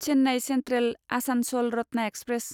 Chennai central Asansol Ratna express